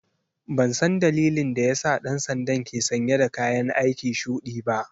Ban san dalilin da ya sa ɗan sandan ke sanye dakayan aiki shuɗi ba.